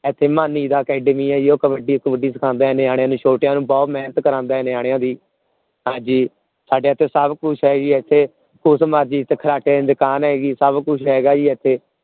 ਇਥੇ ਮਾਨੀ ਦਾ academy ਹੈ ਜੀ ਉਹ ਕਬੱਡੀ ਕੁੱਬੜੀ ਸਿਖਾਉਂਦਾ ਹੈ ਨਿਆਣਿਆਂ ਨੂੰ ਛੋਟੀਆਂ ਨੂੰ ਬਹੁਤ ਮੇਹਨਤ ਕਰਾਉਂਦਾ ਹੈ ਨਿਆਣਿਆਂ ਦੀ ਹਾਂਜੀ ਸਾਡੇ ਇਥੇ ਸਭ ਕੁਛ ਹੈ ਜੀ ਇਥੇ ਕੁਛ ਮਰਜੀ ਦੀ ਦੁਕਾਨ ਹੈਗੀ ਸਭ ਕੁਛ ਹੈਗਾ ਹੈ ਜੀ ਇਥੇ